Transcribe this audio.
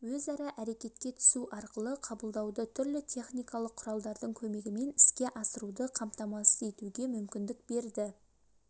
өзара әрекетке түсу арқылы қабылдауды түрлі техникалық құралдардың көмегімен іске асыруды қамтамасыз етуге мүмкіндік берді